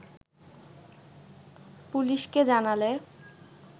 পুলিশকে জানালে